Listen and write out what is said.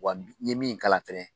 Wa n ye min kalan fɛnɛ